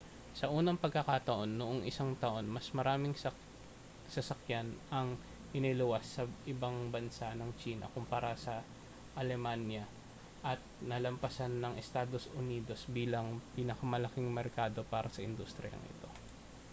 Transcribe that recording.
sa unang pagkakataon noong isang taon mas maraming sasakyan ang iniluwas sa ibang bansa ng tsina kumpara sa alemanya at nalampasan ang estados unidos bilang pinakamalaking merkado para sa industriyang ito